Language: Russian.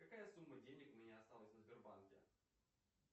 какая сумма денег у меня осталась на сбербанке